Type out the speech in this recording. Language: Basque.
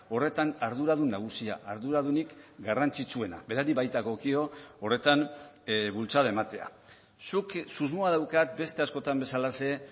horretan arduradun nagusia arduradunik garrantzitsuena berari baitagokio horretan bultzada ematea zuk susmoa daukat beste askotan bezalaxe